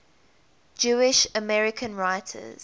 jewish american writers